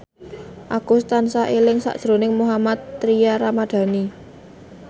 Agus tansah eling sakjroning Mohammad Tria Ramadhani